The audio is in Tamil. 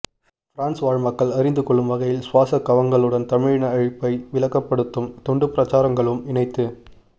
பிரான்ஸ் வாழ் மக்கள் அறிந்துகொள்ளும் வகையில் சுவாசக் கவங்களுடன் தமிழின அழிப்பை விளங்கப்படுத்தும் துண்டுப்பிரசுரங்களும் இணைத்து